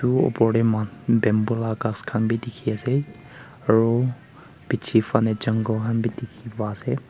etuu oper te moi khan bamboo la ghass khan bi dikhi ase aru piche phale jungle khan bi dikhi pa ase.